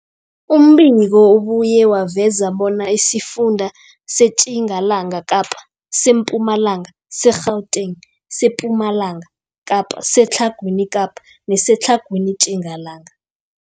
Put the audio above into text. Umbiko ubuye waveza bona isifunda seTjingalanga Kapa, seMpumalanga, seGauteng, sePumalanga Kapa, seTlhagwini Kapa neseTlhagwini Tjingalanga.